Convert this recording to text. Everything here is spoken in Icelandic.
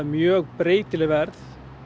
mjög breytileg verð